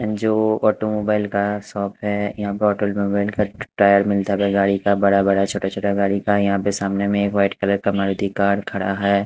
MGO automobile का shop है यहाँ पर ऑटोमोबाइल का टायर मिलता है गाड़ी का बड़ा बड़ा छोटा छोटा गाड़ी का यहाँ पे सामने वाइट कलर का मारुती कार खड़ा है।